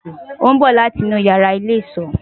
o n bo lati inu iyara ile-iso